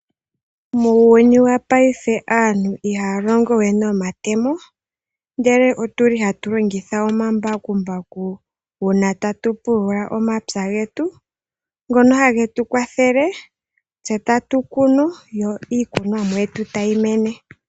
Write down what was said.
Muuyuni wopaife aantu ihaya longo we nomatemo, ndele ohaa longitha omambakumbaku uuna taya pulula omapya gawo ngono hage ya kwathele, yo taa kunu yo iikunwa mo yawo tayi mene.